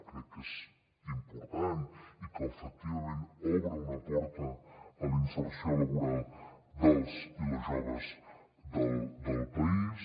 crec que és important i que efectivament obre una porta a la inserció laboral dels i les joves del país